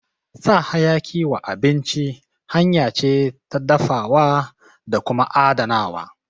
Sa hayaki wa abinci hanya ce ta dafawa da kuma adanawa